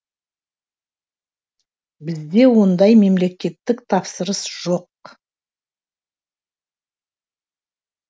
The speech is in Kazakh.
бізде ондай мемлекеттік тапсырыс жоқ